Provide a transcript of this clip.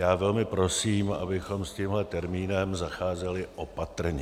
Já velmi prosím, abychom s tímhle termínem zacházeli opatrně.